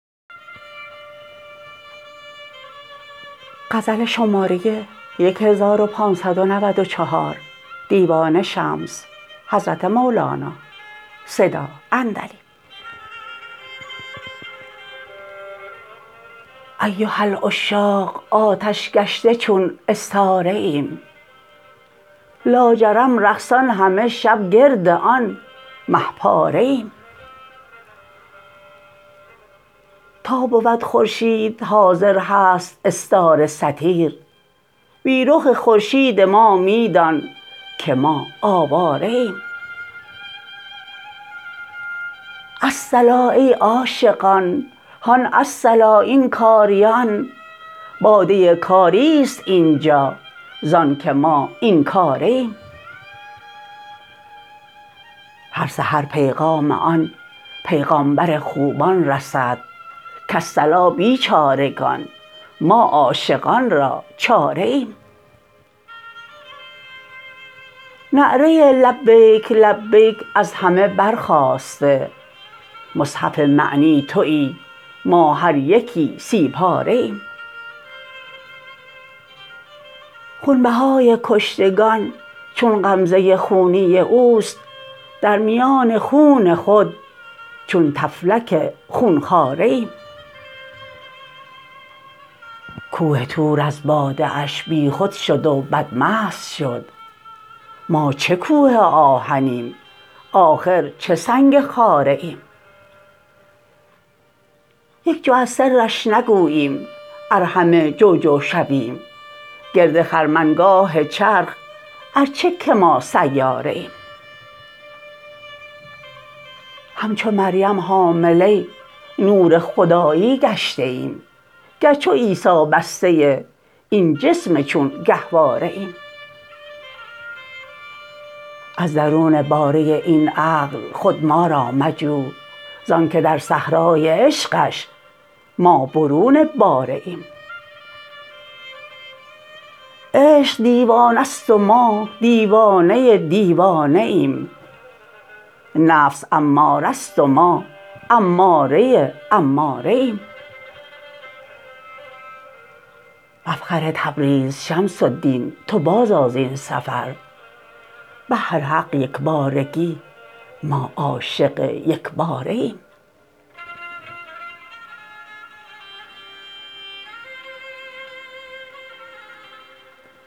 ایها العشاق آتش گشته چون استاره ایم لاجرم رقصان همه شب گرد آن مه پاره ایم تا بود خورشید حاضر هست استاره ستیر بی رخ خورشید ما می دانک ما آواره ایم الصلا ای عاشقان هان الصلا این کاریان باده کاری است این جا زانک ما این کاره ایم هر سحر پیغام آن پیغامبر خوبان رسد کالصلا بیچارگان ما عاشقان را چاره ایم نعره لبیک لبیک از همه برخاسته مصحف معنی توی ما هر یکی سی پاره ایم خونبهای کشتگان چون غمزه خونی اوست در میان خون خود چون طفلک خون خواره ایم کوه طور از باده اش بیخود شد و بدمست شد ما چه کوه آهنیم آخر چه سنگ خاره ایم یک جو از سرش نگوییم ار همه جو جو شویم گرد خرمنگاه چرخ ار چه که ما سیاره ایم همچو مریم حامله نور خدایی گشته ایم گر چو عیسی بسته این جسم چون گهواره ایم از درون باره این عقل خود ما را مجو زانک در صحرای عشقش ما برون باره ایم عشق دیوانه ست و ما دیوانه دیوانه ایم نفس اماره ست و ما اماره اماره ایم مفخر تبریز شمس الدین تو بازآ زین سفر بهر حق یک بارگی ما عاشق یک باره ایم